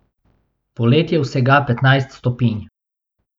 Poleti je vsega petnajst stopinj.